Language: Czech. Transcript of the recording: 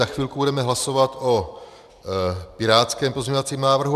Za chvilku budeme hlasovat o pirátském pozměňovacím návrhu.